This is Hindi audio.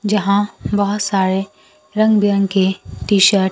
यहां बहुत सारे रंग बिरंगे टी शर्ट --